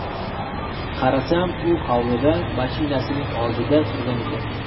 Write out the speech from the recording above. Qarasam, u hovlida, mashinasining oldida turgan ekan.